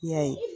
I y'a ye